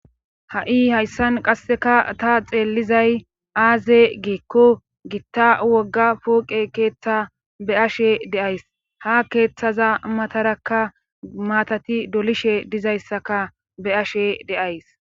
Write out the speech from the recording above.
Ha'i hayssan qasseka ta xeellizay aaze giekko gitta wogga pooqe keeththa be ashe deays ha keeththaza matarakka maatati dolishe dizayssaka be ashe deays.